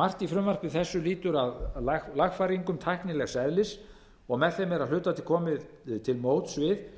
margt í frumvarpi þessu lýtur að lagfæringum tæknilegs eðlis og með þeim er að hluta til komið til móts við